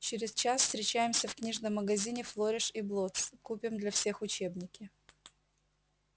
через час встречаемся в книжном магазине флориш и блоттс купим для всех учебники